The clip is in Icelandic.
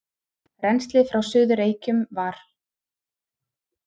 Rennslið frá Suður-Reykjum var